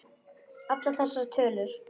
Allar þessar tölur.